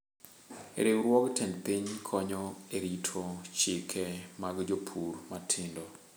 Riwruog tend piny konyo erito chike mag jopur matindo.